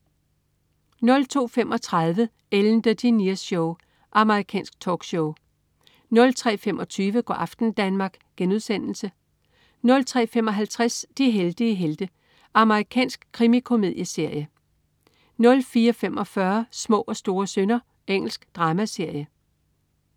02.35 Ellen DeGeneres Show. Amerikansk talkshow 03.25 Go' aften Danmark* 03.55 De heldige helte. Amerikansk krimikomedieserie 04.45 Små og store synder. Engelsk dramaserie